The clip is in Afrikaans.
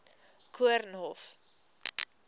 koornhof